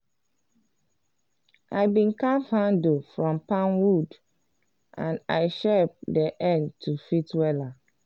i been carve handle from palm wood and i shape d end to fit wela.